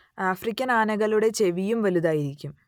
African ആനകളുടെ ചെവിയും വലുതായിരിക്കും